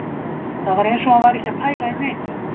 Það var eins og hann væri ekki að pæla í neinu